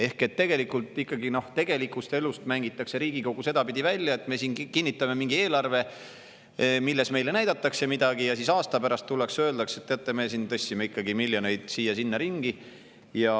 Ehk ikkagi mängitakse Riigikogu tegelikust elust sedapidi välja, et me siin kinnitame mingi eelarve, milles meile näidatakse midagi, aga siis aasta pärast tullakse ja öeldakse: "Teate, me tõstsime ikkagi miljoneid siia-sinna ringi.